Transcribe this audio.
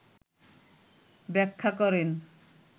ব্যাখ্যা করেন